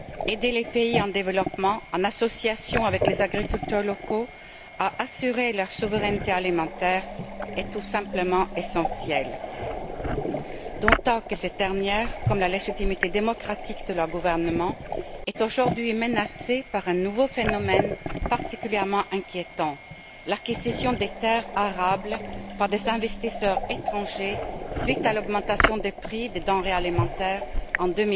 Aider les pays en développement, en association avec les agriculteurs locaux, à assurer leur souveraineté alimentaire est tout simplement essentiel, d'autant que cette dernière, comme la légitimité démocratique de leurs gouvernements est aujourd'hui menacée par un nouveau phénomène particulièrement inquiétant, l'acquisition des terres arables par des investisseurs étrangers suite à l'augmentation des prix des denrées alimentaires en